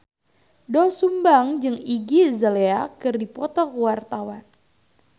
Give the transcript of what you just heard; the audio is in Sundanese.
Doel Sumbang jeung Iggy Azalea keur dipoto ku wartawan